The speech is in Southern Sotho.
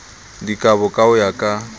dikabo ka ho ya ka